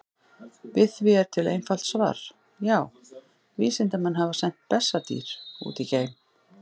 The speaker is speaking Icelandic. Við því er til einfalt svar: Já, vísindamenn hafa sent bessadýr út í geim!